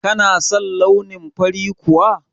Kana son launin fari kuwa?